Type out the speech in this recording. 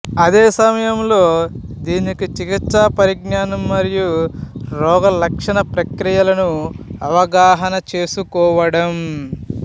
అదే సమయంలో దీనికి చికిత్స పరిజ్ఞానం మరియు రోగలక్షణ ప్రక్రియలను అవగాహన చేసుకోవడం